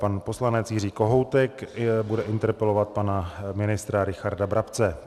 Pan poslanec Jiří Kohoutek bude interpelovat pana ministra Richarda Brabce.